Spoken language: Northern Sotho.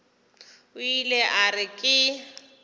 o ile a re ke